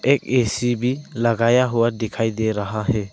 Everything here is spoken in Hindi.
एक ए_सी भी लगाया हुआ दिखाई दे रहा है।